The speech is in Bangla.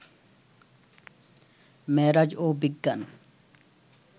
মেরাজ ও বিজ্ঞান